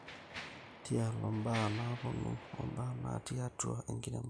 Taiolo imbaa naponu oombaa natii atua enkiremore